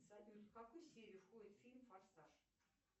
салют в какую серию входит фильм форсаж